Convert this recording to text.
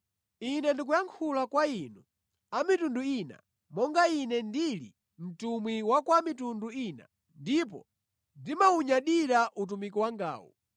Ine ndikuyankhula kwa inu a mitundu ina monga ine ndili mtumwi wa kwa a mitundu ina ndipo ndimawunyadira utumiki wangawu.